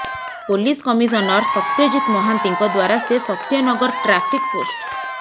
police commissioner Satyajit ମହାନ୍ତିଙ୍କ ଦ୍ୱାରା ସେ ସତ୍ୟନଗର ଟ୍ରାଫିକ୍ ପୋଷ୍ଟ